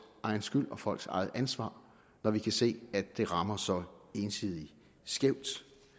egen skyld og folks eget ansvar når vi kan se at det rammer så ensidigt skævt